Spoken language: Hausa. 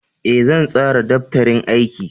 Ee, zan tsara daftarin aiki.